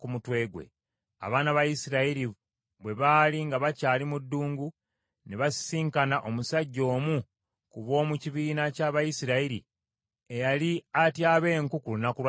Abaana ba Isirayiri bwe baali nga bakyali mu ddungu, ne basisinkana omusajja omu ku b’omu kibiina ky’Abayisirayiri eyali atyaba enku ku lunaku lwa Ssabbiiti.